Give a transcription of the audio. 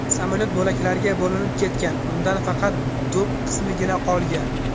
Samolyot bo‘laklarga bo‘linib ketgan, undan faqat dum qismigina qolgan.